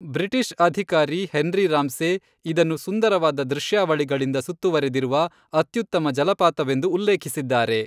British ಅಧಿಕಾರಿ Henry Ramsay ಇದನ್ನು ಸುಂದರವಾದ ದೃಶ್ಯಾವಳಿಗಳಿಂದ ಸುತ್ತುವರೆದಿರುವ ಅತ್ಯುತ್ತಮ ಜಲಪಾತವೆಂದು ಉಲ್ಲೇಖಿಸಿದ್ದಾರೆ.